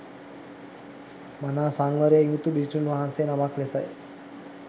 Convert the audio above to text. මනා සංවරයෙන් යුතු භික්ෂුන් වහන්සේ නමක් ලෙසයි